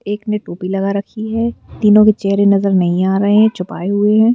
एक ने टोपी लगा रखी है तीनों के चेहरे नजर नहीं आ रहे हैं छुपाए हुए हैं।